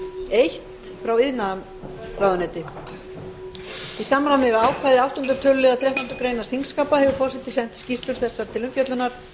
eins frá iðnaðarráðuneyti í samræmi við ákvæði áttunda töluliðar þrettándu greinar þingskapa hefur forseti sent skýrslur þessar til umfjöllunar